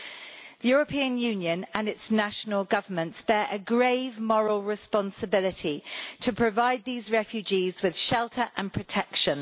The European Union and its national governments bear a grave moral responsibility to provide these refugees with shelter and protection.